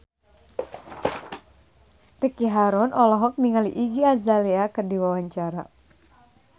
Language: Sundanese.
Ricky Harun olohok ningali Iggy Azalea keur diwawancara